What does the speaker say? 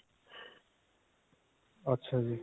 ਅੱਛਾ ਜੀ.